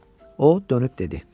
O dönüb dedi.